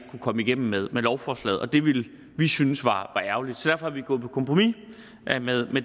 komme igennem med lovforslaget og det ville vi synes var ærgerligt så er vi gået på kompromis med